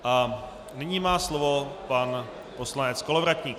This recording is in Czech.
A nyní má slovo pan poslanec Kolovratník.